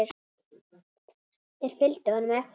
Þeir fylgdu honum eftir.